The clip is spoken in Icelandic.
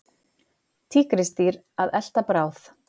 Tígrisdýr að elta bráð.